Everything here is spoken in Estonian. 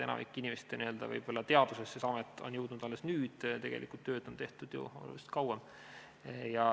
Enamiku inimeste teadvusesse on see amet jõudnud alles nüüd, tegelikult on tööd tehtud ju oluliselt kauem.